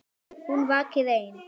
Hún vakir ein.